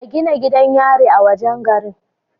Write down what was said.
A Gina gidan yari a wajan gari